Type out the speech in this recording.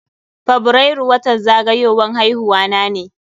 Fabrairu watan zagayowan haihuwa na ne.